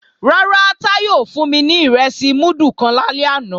Rárá, Táyọ̀ ò fún mi ní ìrẹsì múdù kan lálẹ́ àná